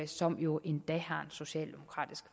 som jo endda har en socialdemokratisk